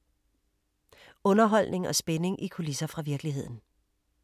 Underholdning og spænding i kulisser fra virkeligheden